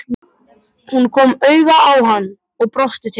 Hún kom auga á hann og brosti til hans.